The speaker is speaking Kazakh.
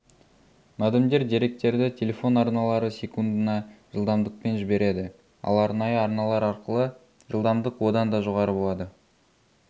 модемдер деректерді телефон арналары секундына жылдамдықпен жібереді ал арнайы арналар арқылы жылдамдық одан да жоғары болады